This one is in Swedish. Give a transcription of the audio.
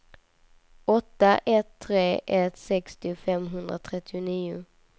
åtta ett tre ett sextio femhundratrettionio